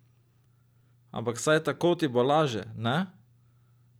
Ampak saj tako ti bo laže, ne?